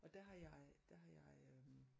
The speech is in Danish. Og der har jeg der har jeg øh